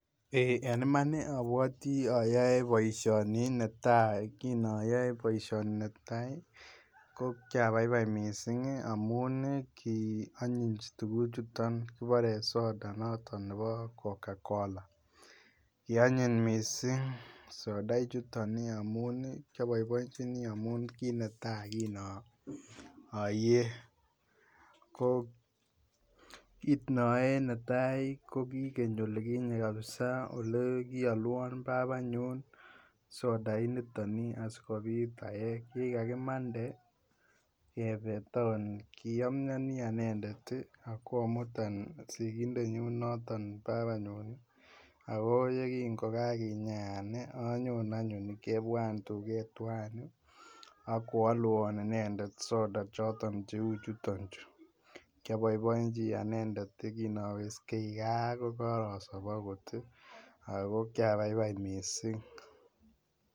en iman iih obwotii oyoe boishoni netai, kiinoyoe boishoni netai iih ko kyabaibai mising iih amuun iih kionyiny tuguk chuton kiboree soda nebo kokakola kionyiny mising soda ichuton iih amuun kyoboiboinjinii amuun iih kinetai kinoyee, koo kinoyee netai iiih ko kii geny kabisaa olegiolwon baabanyun soda initon iih asigobiit aee, gii gagimande kebee town kiomyonii anendet iih agomutan sigindet nyuun noton babanyun agoo yegingogaginyaan iih anyoon anyun kebwaan tuget twaan iih inendet soda choton cheuchuton chu, kyoboiboenji anendet kinowesgeii gaa kogosoob agot iih ago kyabaibai misiing